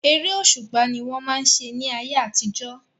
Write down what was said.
Eré òṣùpá ni wọ́n máa ń ṣe ní ayé àtijọ́.